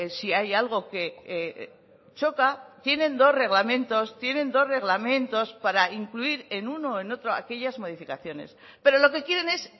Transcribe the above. si hay algo que choca tienen dos reglamentos tienen dos reglamentos para incluir en uno o en otro aquellas modificaciones pero lo que quieren es